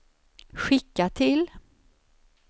skicka till